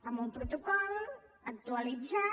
amb un protocol actualitzat